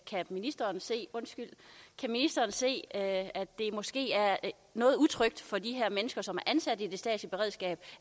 kan ministeren se se at det måske er noget utrygt for de her mennesker som er ansat i det statslige beredskab